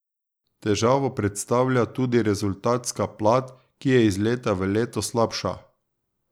Težavo predstavlja tudi rezultatska plat, ki je iz leta v leto slabša.